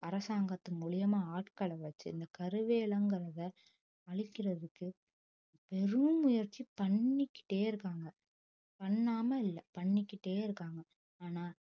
அரசாங்கத்தின் மூலியமா ஆட்களை வச்சு இந்த கருவேலங்கிறதை அழிக்கிறதுக்கு பெரும் முயற்சி பண்ணிக்கிட்டே இருக்காங்க பண்ணாம இல்லை பண்ணிக்கிட்டே இருக்காங்க ஆனா